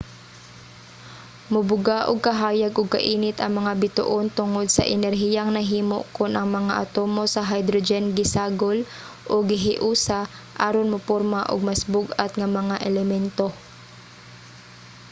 mubuga og kahayag ug kainit ang mga bituon tungod sa enerhiyang nahimo kon ang mga atomo sa hydrogen gisagol o gihiusa aron muporma og mas bug-at nga mga elemento